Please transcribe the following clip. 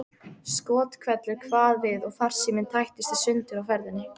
Skothvellur kvað við og farsíminn tættist í sundur á ferðinni.